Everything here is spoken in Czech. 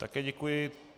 Také děkuji.